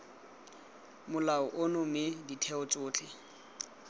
molao ono mme ditheo tsotlhe